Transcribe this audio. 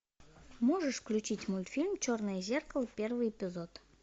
можешь включить мультфильм черное зеркало первый эпизод